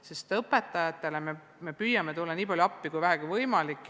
Me püüame õpetajatele tulla appi nii palju, kui vähegi võimalik.